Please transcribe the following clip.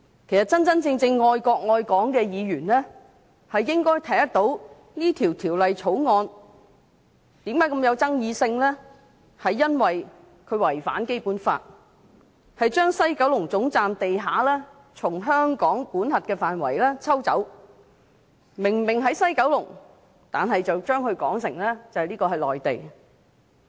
其實，真正愛國愛港的議員應該看得到《條例草案》為何如此具爭議性，這是因為它違反《基本法》，將西九龍總站地下從香港的管轄範圍抽走，明明位處西九龍，卻把它說成是內地。